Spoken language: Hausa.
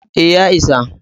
E, ya isa.